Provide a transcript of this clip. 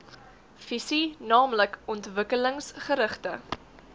visie naamlik ontwikkelingsgerigte